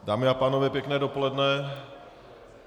Dámy a pánové, pěkné dopoledne.